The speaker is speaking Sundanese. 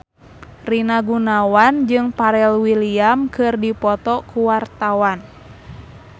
Rina Gunawan jeung Pharrell Williams keur dipoto ku wartawan